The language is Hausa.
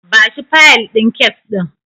Bashi fayil din kes ɗin.